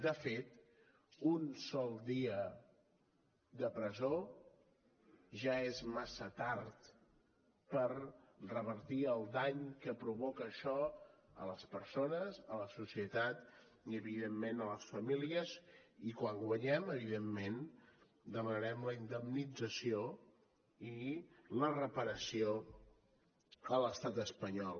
de fet un sol dia de presó ja és massa tard per revertir el dany que provoca això a les persones a la societat i evidentment a les famílies i quan guanyem evidentment demanarem la indemnització i la reparació a l’estat espanyol